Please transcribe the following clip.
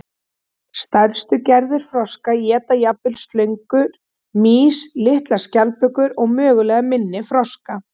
Stærstu gerðir froska éta jafnvel slöngur, mýs, litlar skjaldbökur og mögulega minni froska.